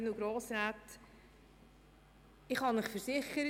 Ich kann Ihnen versichern: